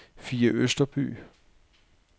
Fie Østerby